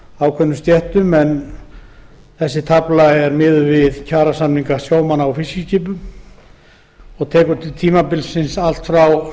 ákveðnum stéttum en hún er miðuð við kjarasamninga sjómanna á fiskiskipum og nær yfir tímabilið frá